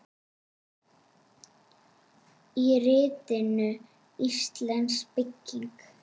Í ritinu Íslensk bygging